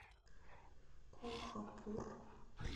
колхапур